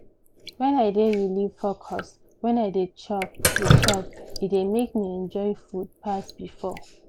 when i dey really focus when i dey chop dey chop e dey make me enjoy food pass before